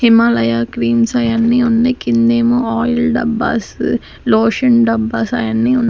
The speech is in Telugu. హిమాలయ క్రీమ్స్ అయి అన్నీ ఉన్నాయి కింద ఎమో ఆయిల్స్ డబ్బాస్ లోషన్ డబ్బాస్ అయి అన్నీ ఉన్న--